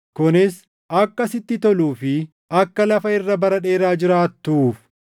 kunis, “Akka sitti toluu fi akka lafa irra bara dheeraa jiraattuuf.” + 6:3 \+xt KeD 5:16\+xt*